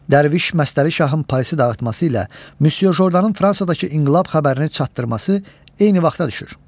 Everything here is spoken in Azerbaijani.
Dərviş məstəri şahın Parisi dağıtması ilə Müsyodan Fransadakı inqilab xəbərini çatdırması eyni vaxta düşür.